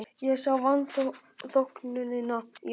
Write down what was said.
Ég sá vanþóknunina í augum